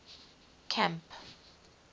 camp